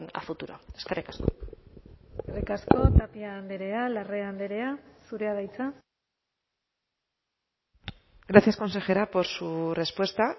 a futuro eskerrik asko eskerrik asko tapia andrea larrea andrea zurea da hitza gracias consejera por su respuesta